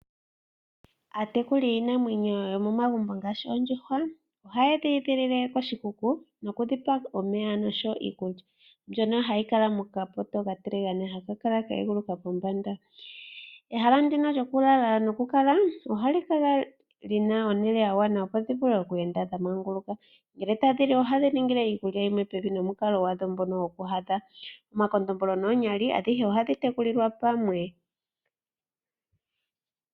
Aatekuli yiinamwenyo yomomagumbo ngaashi oondjuhwa ohaye dhi edhilile koshikuku nokudhipa omeya noshowo iikulya , mbyono hayi kala mokapoto okatiligane haka kala ka eguluka pombanda. Ehala ndino lyokulala nokukala ohali kala li na ehala lya gwana, opo dhi vule oku enda dha manguluka . Ngele tadhi li ohadhi ningile iikulya yimwe pevi nomukala gwadho ngono gokuhadha . Omakondombolo noonyali adhihe ohadhi tekulilwa pamwe.